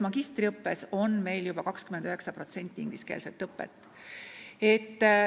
Magistriõppes on meil juba 29% ulatuses ingliskeelne õpe.